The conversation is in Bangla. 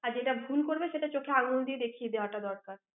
আর যেটা ভুল করবে সেটা চোখে আঙুল দিয়ে দেখিয়ে দেওয়াটা দরকার।